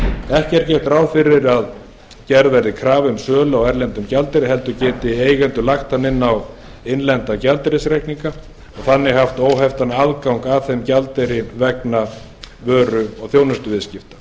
ekki er gert ráð fyrir að gerð verði krafa um sölu á erlendum gjaldeyri heldur geti eigendur lagt hann inn á innlenda gjaldeyrisreikninga og þannig haft óheftan aðgang að þeim gjaldeyri vegna vöru og þjónustuviðskipta